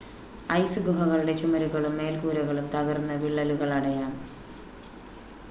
ice ഗുഹകളുടെ ചുമരുകളും മേൽക്കൂരകളും തകർന്ന് വിള്ളലുകൾ അടയാം